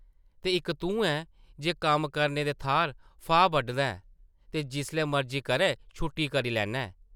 ते इक तूं ऐं जे कम्म करने दे थाह्र फाह् बड्ढना ऐं ते जिसलै मर्जी करै छुट्टी करी लैन्ना ऐं ।